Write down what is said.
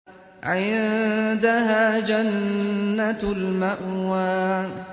عِندَهَا جَنَّةُ الْمَأْوَىٰ